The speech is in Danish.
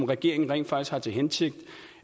regeringen rent faktisk har til hensigt